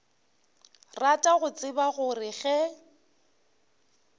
rata go tseba gore ge